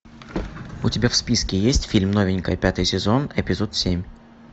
у тебя в списке есть фильм новенькая пятый сезон эпизод семь